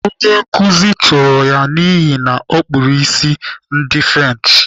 Onye nkuzi chụlara ya n'ihi na ọ kpụrụ ụdị isi French.